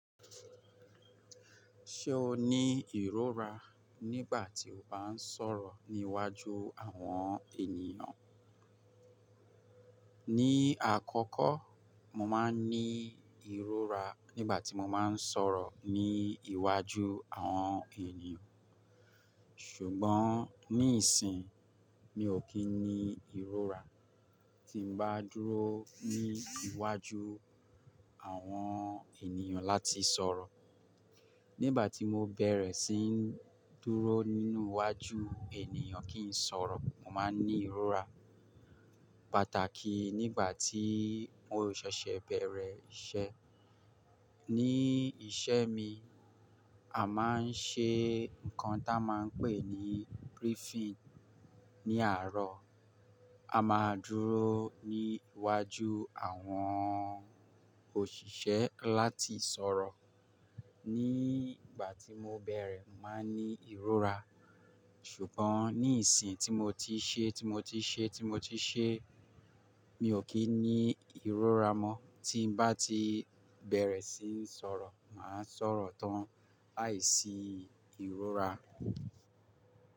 Ṣé o ní ìrora nígbà tí o bá ń sọ̀rọ̀ ní iwájú àwọn ènìyàn? Ní àkọ́kọ́, mo máa ń ní ìrora nígbà tí mo máa ń sọ̀rọ̀ ní iwájú àwọn ènìyàn. Ṣùgbọ́n ní ìsìn, mi ò kí ń ní ìrora tí mo bá dúró ní iwájú àwọn ènìyàn láti sọ̀rọ̀. Nígbà tí mo bẹ̀rẹ̀ sí ń dúró nínú iwájú ènìyàn kí ń sọ̀rọ̀, mo máa ń ní ìrora, pàtàkì nígbà tí mo ṣẹ̀ṣẹ̀ bẹ̀rẹ̀ iṣẹ́. Ní ìṣe mi, a máa ń ṣe nǹkan tí a máa ń pè ní briefing. Ní àárọ̀, a máa dúró ní iwájú àwọn òṣìṣẹ́ láti sọ̀rọ̀. Nígbà tí mo bẹ̀rẹ̀, mo máa ń ní ìrora. Ṣùgbọ́n ní ìsìn tí mo ti ṣe, tí mo ti ṣe, tí mo ti ṣe, mi ò kí ń ní ìrora mọ́. Tí mo bá ti bẹ̀rẹ̀ sí ń sọ̀rọ̀, màá sọ̀rọ̀ tán láìsí ìrora.